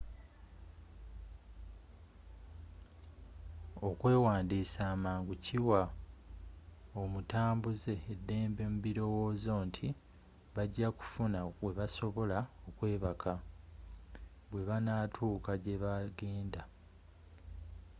okwewandisa amangu kiwa omutambuze eddembe mu birowozo nti bajja kufuna webasobola okwebaka bwebanatuuka gyebagenda